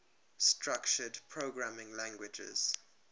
structured programming languages